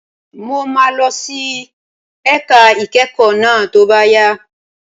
Mo máa lọ sí ẹ̀ka ìkẹ́kọ̀ọ́ náà tó bá yá.